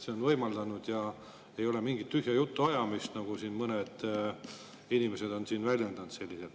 Siin ei ole mingit tühja jutu ajamist, nagu mõned inimesed on väljendanud.